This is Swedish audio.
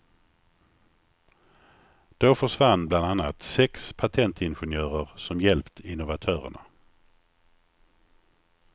Då försvann bland annat sex patentingenjörer, som hjälpt innovatörerna.